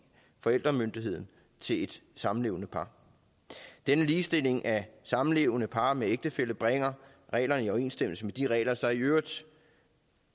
forældremyndigheden til et samlevende par denne ligestilling af samlevende par med ægtefæller bringer reglerne i overensstemmelse med de regler der i øvrigt